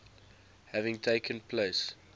having taken place